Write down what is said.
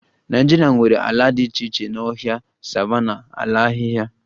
Nigeria nwere ala dị iche iche na ọhịa, savannahs, ala ahịhịa